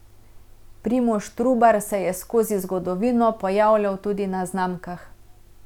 Primož Trubar se je skozi zgodovino pojavljal tudi na znamkah.